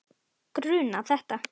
Grunað þetta?